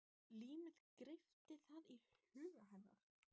Límið greypti það í huga hennar.